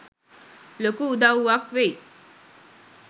ලොකු උදව්වක් වෙයි.